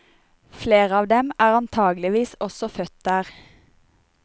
Flere av dem er antakeligvis også født der.